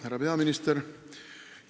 Härra peaminister!